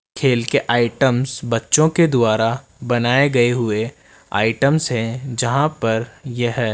खेल के आइटम्स बच्चों के द्वारा बनाए गए हुए आइटम्स है जहां पर यह --